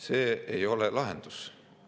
See ei ole lahendus.